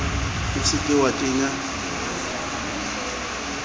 o se ke wa kenya